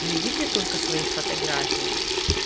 не в виде только своих фотографий